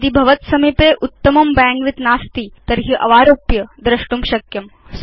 यदि भवत्सविधे उत्तमं बैण्डविड्थ नास्ति तर्हि अवारोप्य तद् द्रष्टुं शक्यम्